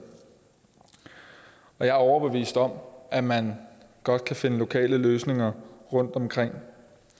jeg er overbevist om at man godt kan finde lokale løsninger rundtomkring